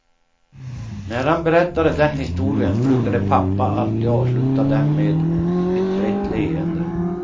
När han berättade den historien brukade pappa alltid avsluta den med ett brett leende.